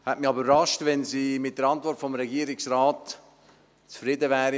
Es hätte mich aber überrascht, wenn sie mit der Antwort des Regierungsrates zufrieden gewesen wäre;